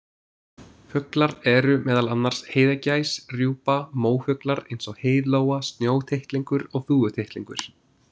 Fuglar eru meðal annars heiðagæs, rjúpa, mófuglar eins og heiðlóa, snjótittlingur og þúfutittlingur.